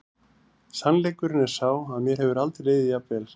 Sannleikurinn er sá að mér hefur aldrei liðið jafn vel.